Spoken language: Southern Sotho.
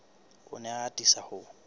o ne a atisa ho